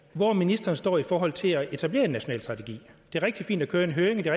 hvor ministeren står i forhold til at etablere en national strategi det er rigtig fint at køre en høring og det